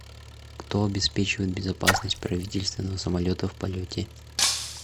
кто обеспечивает безопасность правительственного самолета в полете